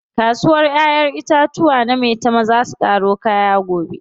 Kasuwar ƴaƴen itatuwa na maitama zaa su ƙaro kaya gobe.